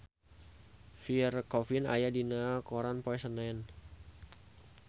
Pierre Coffin aya dina koran poe Senen